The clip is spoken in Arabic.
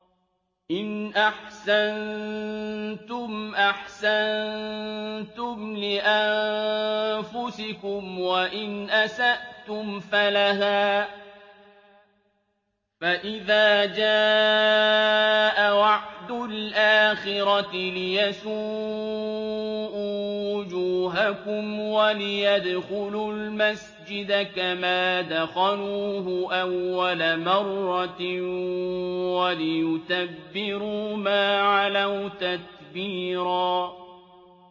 إِنْ أَحْسَنتُمْ أَحْسَنتُمْ لِأَنفُسِكُمْ ۖ وَإِنْ أَسَأْتُمْ فَلَهَا ۚ فَإِذَا جَاءَ وَعْدُ الْآخِرَةِ لِيَسُوءُوا وُجُوهَكُمْ وَلِيَدْخُلُوا الْمَسْجِدَ كَمَا دَخَلُوهُ أَوَّلَ مَرَّةٍ وَلِيُتَبِّرُوا مَا عَلَوْا تَتْبِيرًا